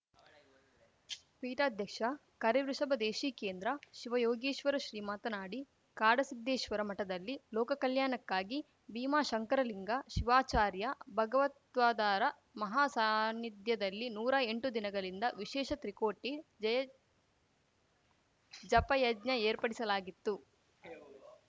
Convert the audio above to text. ಪೀಠಾಧ್ಯಕ್ಷ ಕರಿವೃಷಭದೇಶಿಕೇಂದ್ರ ಶಿವಯೋಗೀಶ್ವರ ಶ್ರೀ ಮಾತನಾಡಿ ಕಾಡಸಿದ್ದೇಶ್ವರ ಮಠದಲ್ಲಿ ಲೋಕಕಲ್ಯಾಣಕ್ಕಾಗಿ ಭೀಮಾಶಂಕರಲಿಂಗ ಶಿವಾಚಾರ್ಯ ಭಗವತ್ಪಾದರ ಮಹಾ ಸಾನ್ನಿಧ್ಯದಲ್ಲಿ ನೂರಾ ಎಂಟು ದಿನಗಳಿಂದ ವಿಶೇಷ ತ್ರಿಕೋಟಿ ಜಯ ಜಪಯಜ್ಞ ಏರ್ಪಡಿಸಲಾಗಿತ್ತು